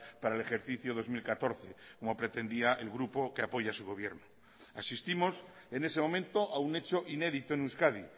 para el ejercicio dos mil catorce como pretendía el grupo que apoya su gobierno asistimos en ese momento a un hecho inédito en euskadi